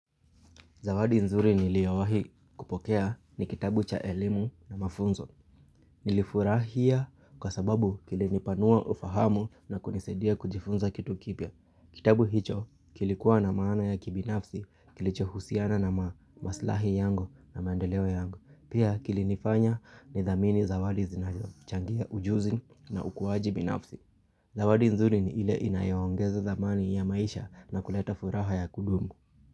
Zawadi nzuri niliyowahi kupokea ni kitabu cha elimu na mafunzo. Nilifurahia kwa sababu kilinipanua ufahamu na kunisaidia kujifunza kitu kipya. Kitabu hicho kilikuwa na maana ya kibinafsi kilicho husiana na maslahi yangu na maendeleo yangu. Pia kilinifanya ni thamini zawadi zinazo, changia ujuzi na ukuwaji binafsi. Zawadi nzuri ni ile inayoongeza thamani ya maisha na kuleta furaha ya kudumu.